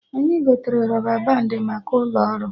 Anyị gotere rọba bandị maka ụlọ ọrụ